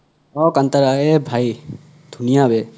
অহ কানতাৰা এ ভাই ধুনীয়া বে